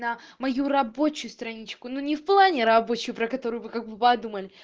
мою рабочую страничку но не в плане рабочую про которую вы как бы подумали